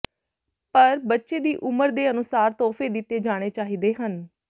ਪਰ ਬੱਚੇ ਦੀ ਉਮਰ ਦੇ ਅਨੁਸਾਰ ਤੋਹਫ਼ੇ ਦਿੱਤੇ ਜਾਣੇ ਚਾਹੀਦੇ ਹਨ